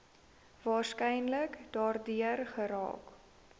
waarskynlik daardeur geraak